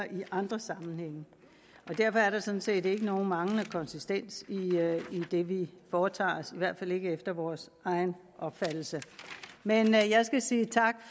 i andre sammenhænge derfor er der sådan set ikke nogen manglende konsistens i det vi foretager os i hvert fald ikke efter vores egen opfattelse men jeg jeg skal sige tak